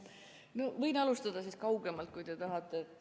Jah, võin alustada kaugemalt, kui te tahate.